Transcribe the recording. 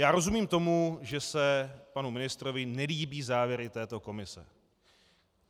Já rozumím tomu, že se panu ministrovi nelíbí závěry této komise.